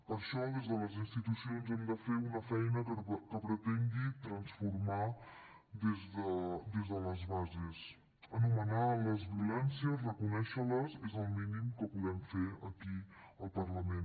per això des de les institucions hem de fer una feina que pretengui transformar des de les bases anomenar les violències reconèixer les és el mínim que podem fer aquí al parlament